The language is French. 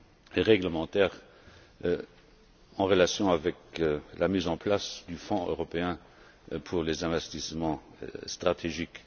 et réglementaires en relation avec la mise en place du Fonds européen pour les investissements stratégiques.